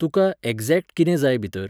तुका एक्झॅक्ट कितें जाय भितर?